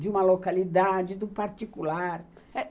De uma localidade, do particular.